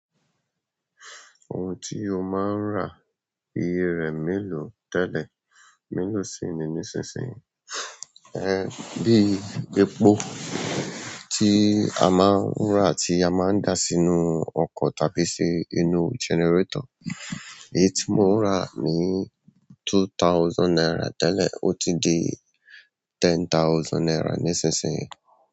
Ohun tí o máa ń rà iye rẹ̀ mélòó tẹ́lẹ̀ mélòó sì ni nísinsìnyí? Ẹ́hn, bíi epo tí a máa ń rà tí a máa ń da sínú ọkọ̀ tàbí sí inú gẹnẹrétọ̀r. Èyí tí mò ń rà ní two thousand naira tẹ́lẹ̀ ò tí ì di ten thousand naira nísinsìnyí.